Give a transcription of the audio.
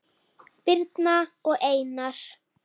Birna og Einar.